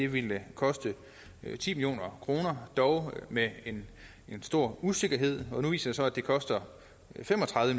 ville koste ti million kroner dog med en stor usikkerhed og nu viser så at det koster fem og tredive